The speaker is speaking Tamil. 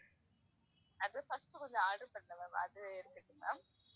அது first கொஞ்சம் order பண்றேன் ma'am அது எடுத்துக்குங்க ma'am